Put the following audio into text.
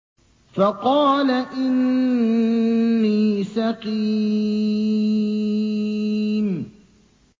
فَقَالَ إِنِّي سَقِيمٌ